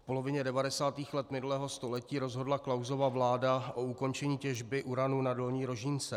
V polovině 90. let minulého století rozhodla Klausova vláda o ukončení těžby uranu na Dolní Rožínce.